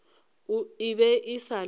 e be e sa le